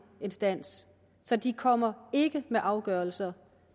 instans så de kommer ikke med afgørelser